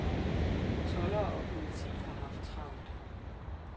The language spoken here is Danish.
Toldere og politi har haft travlt.